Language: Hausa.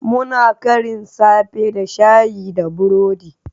Muna karin safe da Shayi da burodi